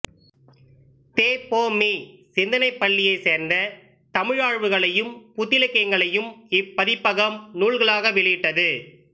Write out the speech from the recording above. தெ பொ மீ சிந்தனைப் பள்ளியைச் சேர்ந்த தமிழாய்வுகளையும் புத்திலக்கியங்களையும் இப்பதிப்பகம் நூல்களாக வெளியிட்டது